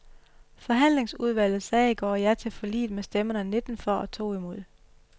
Forhandlingsudvalget sagde i går ja til forliget med stemmerne nitten for og to imod.